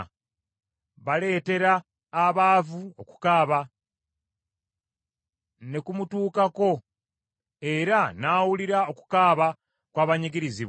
Baleetera abaavu okukaaba, ne kumutuukako era n’awulira okukaaba kw’abanyigirizibwa.